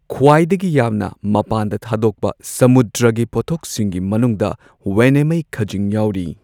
ꯈ꯭ꯋꯥꯏꯗꯒꯤ ꯌꯥꯝꯅ ꯃꯄꯥꯟꯗ ꯊꯥꯗꯣꯛꯄ ꯁꯃꯨꯗ꯭ꯔꯒꯤ ꯄꯣꯠꯊꯣꯛꯁꯤꯡꯒꯤ ꯃꯅꯨꯡꯗ ꯋꯦꯅꯦꯃꯩ ꯈꯖꯤꯡ ꯌꯥꯎꯔꯤ꯫